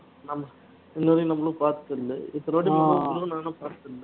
முன்னாடி நம்மலும் பாத்ததில்ல இத்தனவாட்டி போகும்போதும் அவ்வளவா நானும் பாத்ததில்ல